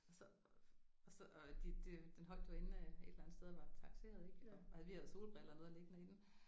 Og så og så og de den holdt jo inde et eller andet sted og var takseret ik og og vi havde solbriller og noget i den